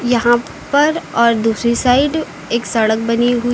यहां पर और दूसरी साइड एक सड़क बनी हुई--